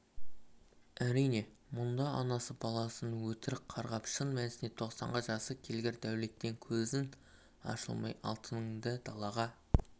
әрине мұнда анасы баласын өтірік қарғап шын мәнісінде тоқсанға жасы келгір дәулеттен көзің ашылмай алтыныңды далаға